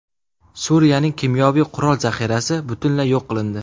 Suriyaning kimyoviy qurol zaxirasi butunlay yo‘q qilindi.